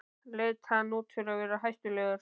Leit hann út fyrir að vera hættulegur?